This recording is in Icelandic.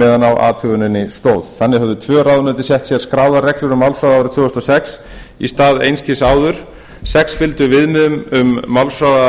meðan á athuguninni stóð þannig höfðu tvö ráðuneyti sett sér skráðar reglur um málshraða árið tvö þúsund og sex í stað einskis áður sex fylgdu viðmiðun um málshraða